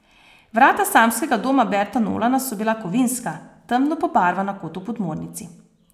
Vrata Samskega doma Berta Nolana so bila kovinska, temno pobarvana kot v podmornici.